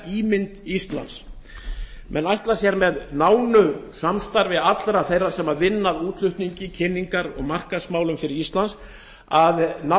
ímynd íslands menn ætla sér með nánu samstarfi allra þeirra sem vinna að útflutningi og kynningar og markaðsmálum fyrir ísland að ná